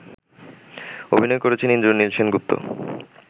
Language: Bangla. অভিনয় করেছেন ইন্দ্রনীল সেনগুপ্ত